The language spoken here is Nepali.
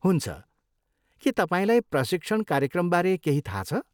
हुन्छ, के तपाईँलाई प्रशिक्षण कार्यक्रमबारे केही थाहा छ?